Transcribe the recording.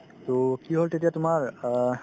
to কি হ'ল তেতিয়া তোমাৰ অ